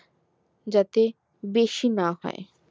যাতে বেশি না হয়